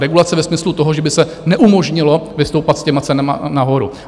Regulace ve smyslu toho, že by se neumožnilo vystoupat s těmi cenami nahoru.